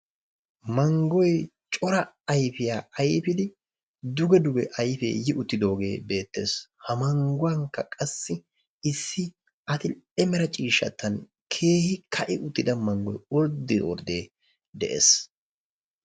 Manggoy cora ayfiya ayfidi ayfee duge duge yiidaagee beettees. Ha mangguwankka qassi keehi adil"e mera ciishshaadan ka'i uttida manggoy orddee orddee de'ees.